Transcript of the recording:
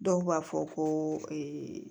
Dɔw b'a fɔ ko